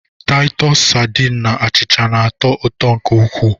Taịtọs sadin na achịcha na-atọ ụtọ nke ukwuu.